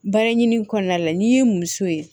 Baara ɲini kɔnɔna la n'i y'i muso ye